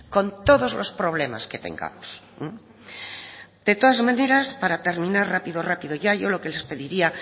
con todos los problemas que tengamos de todas maneras para terminara rápido rápido ya yo lo que les pediría